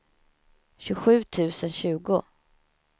tjugosju tusen tjugo